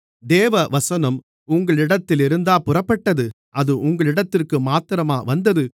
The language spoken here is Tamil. தேவவசனம் உங்களிடத்திலிருந்தா புறப்பட்டது அது உங்களிடத்திற்கு மாத்திரமா வந்தது